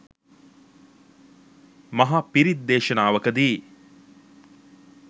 මහ පිරිත් දේශනාවකදී